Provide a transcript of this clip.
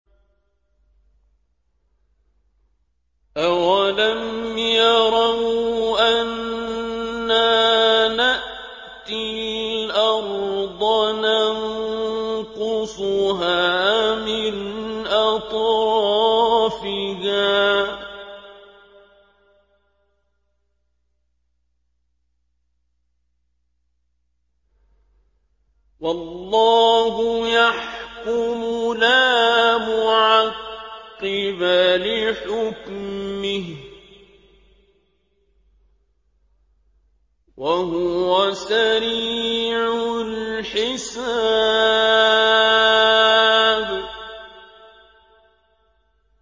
أَوَلَمْ يَرَوْا أَنَّا نَأْتِي الْأَرْضَ نَنقُصُهَا مِنْ أَطْرَافِهَا ۚ وَاللَّهُ يَحْكُمُ لَا مُعَقِّبَ لِحُكْمِهِ ۚ وَهُوَ سَرِيعُ الْحِسَابِ